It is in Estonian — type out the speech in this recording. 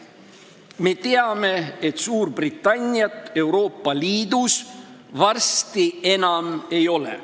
Me teame, et Suurbritanniat Euroopa Liidus varsti enam ei ole.